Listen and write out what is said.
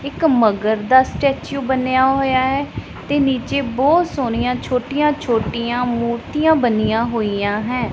ਇੱਕ ਮਗਰ ਦਾ ਸਟੈਚੂ ਬਣਿਆ ਹੋਇਆ ਹੈ ਤੇ ਨੀਚੇ ਬਹੁਤ ਸੋਹਣੀਆਂ ਛੋਟੀਆਂ ਛੋਟੀਆਂ ਮੂਰਤੀਆਂ ਬਣੀਆਂ ਹੋਈਆਂ ਹੈ।